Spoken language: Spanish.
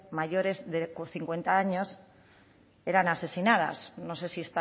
mayores de o con cincuenta años eran asesinadas no sé si